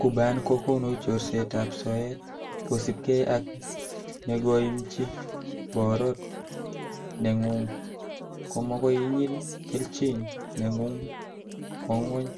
Cuban kokonu chorsetab soet, kosiibge ak nengoimchi borot nengung, komokoi inyil kelchin nengung kwo ngwony,